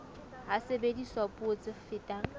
ha sebediswa puo tse fetang